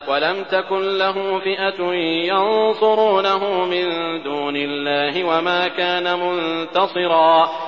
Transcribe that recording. وَلَمْ تَكُن لَّهُ فِئَةٌ يَنصُرُونَهُ مِن دُونِ اللَّهِ وَمَا كَانَ مُنتَصِرًا